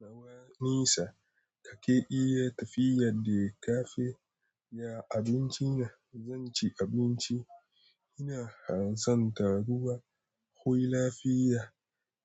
Nawa nesa kake iya tafiya da cafe? Ya abinci na, zan ci abinci. Ina hansan taruwa. Hoy lafiya.